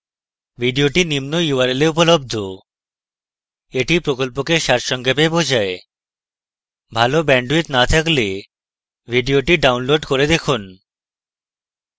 video নিম্ন url এ উপলব্ধ: